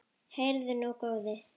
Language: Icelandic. Heyrðu nú, góði!